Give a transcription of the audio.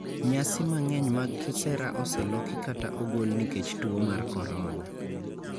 Nyasi mang'eny mag kisera oseloki kata ogol nikech tuo mar korona.